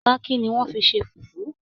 Páákí ni wọ́n fi ṣe Fùfú